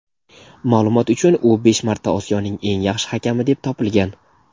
Ma’lumot uchun u besh marta Osiyoning eng yaxshi hakami deb topilgan.